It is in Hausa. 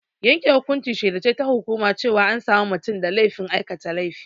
Yanke hukunci shela ce ta hukuma cewa an sami mutum da laifin aikata laifi.